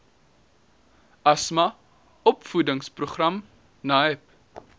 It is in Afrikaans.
asma opvoedingsprogram naep